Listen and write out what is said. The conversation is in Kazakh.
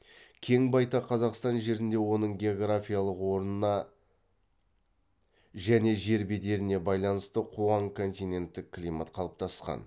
кең байтақ қазақстан жерінде оның географиялық орнына және жер бедеріне байланысты қуаң континенттік климат қалыптасқан